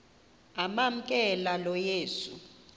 amamkela lo yesu